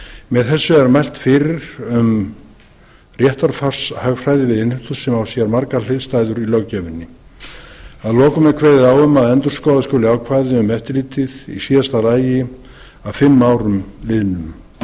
með þessu er mælt fyrir um réttarfarshagræði við innheimtu sem á sér margar hliðstæður í löggjöfinni að lokum er kveðið á um að endurskoða skuli ákvæðið um eftirlitið í síðasta lagi að fimm árum liðnum á